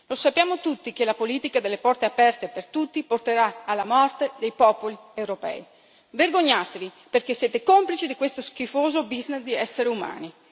Lo sappiamo tutti che la politica delle porte aperte per tutti porterà alla morte dei popoli europei. Vergognatevi, perché siete complici di questo schifoso business di esseri umani.